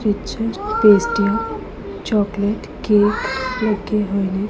ਪੇਸਟ੍ਰਿਆਂ chocolate cake ਲੱਗੇ ਹੋਏ ਨੇਂ।